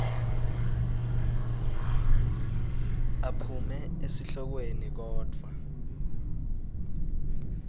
aphume esihlokweni kodvwa